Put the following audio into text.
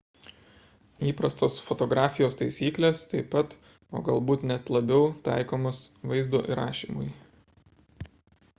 įprastos fotografijos taisyklės taip pat o galbūt net labiau taikomos vaizdo įrašymui